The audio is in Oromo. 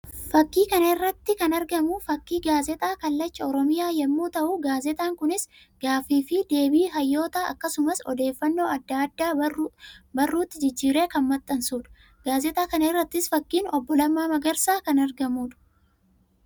Fakkii kana irratti kan argamu fakkii gaazexaa kallacha Oromiyaa yammuu ta'u; gaazexaan kunis gaaffii fi deebii hayyootaa akkasumas odeeffannoo addaa addaa barruutti jijjiiree kan maxxansuu dha. Gaazexaa kana irrattis fakkiin obbo Lammaa Magarsaa kan argamuu dha.